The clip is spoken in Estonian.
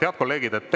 Head kolleegid!